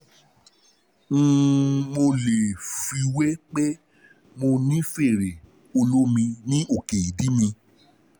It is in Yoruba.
um Mo lè fiwé um pé mo ní fèrè olómi ní òkè ìdí mi um